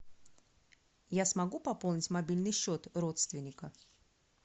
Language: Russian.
я смогу пополнить мобильный счет родственника